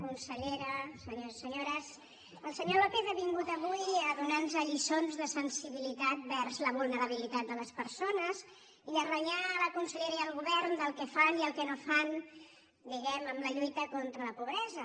consellera senyors i senyores el senyor lópez ha vingut avui a donar nos lliçons de sensibilitat vers la vulnerabilitat de les persones i a renyar la consellera i el govern del que fan i el que no fan diguem ne en la lluita contra la pobresa